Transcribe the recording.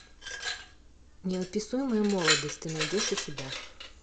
неописуемая молодость ты найдешь у себя